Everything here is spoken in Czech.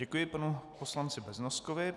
Děkuji panu poslanci Beznoskovi.